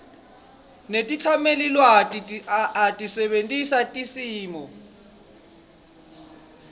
netetsamelilwati asebentisa timiso